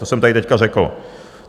To jsem tady teď řekl.